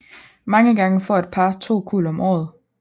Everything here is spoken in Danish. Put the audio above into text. Mange gange får et par to kuld om året